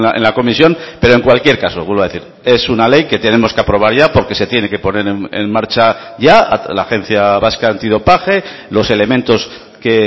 en la comisión pero en cualquier caso vuelvo a decir es una ley que tenemos que aprobar ya porque se tiene que poner en marcha ya la agencia vasca antidopaje los elementos que